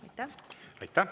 Aitäh!